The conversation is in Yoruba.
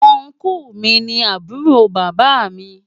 Ọnkú mi ni àbúrò bàbá mi.